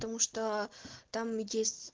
потому что там есть